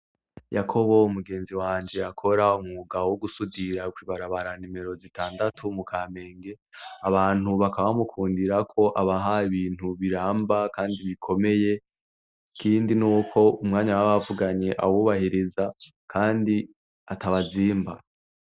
Yakobo mugenzi wanje akora umwuga wogusudira kwibarabara numero zitandatu mukamenge abantu bakaba bamukundirako abaha ibintu biramba kandi bikomeye ikindi nuko umwanya baba bavuganye awubahiriza, Kandi atawe azimba.